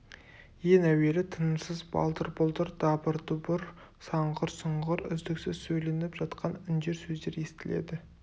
ең әуелі тынымсыз балдыр-бұлдыр дабыр-дұбыр саңғыр-сұңғыр үздіксіз сөйленіп жатқан үндер сөздер естіледі